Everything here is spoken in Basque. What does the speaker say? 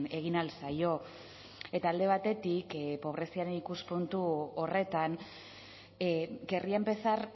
egin ahal zaio eta alde batetik pobreziaren ikuspuntu horretan querría empezar